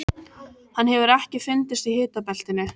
Hann hefur ekki fundist í hitabeltinu.